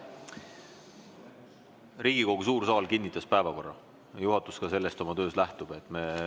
Riigikogu suur saal kinnitas päevakorra, juhatus oma töös sellest ka lähtub.